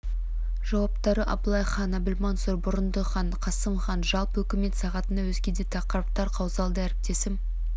жауаптары абылай хан әбілмансұр бұрындық хан қасым хан жалпы үкімет сағатында өзге де тақырыптар қаузалды әріптесім